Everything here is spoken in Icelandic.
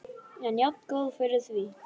En jafngóð fyrir því!